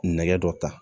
Nɛgɛ dɔ ta